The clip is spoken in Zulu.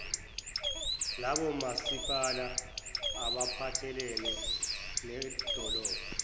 labomasipala abaphathelene nedolobha